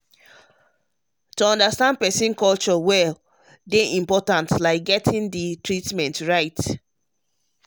to understand person culture well dey um important like um getting the treatment right.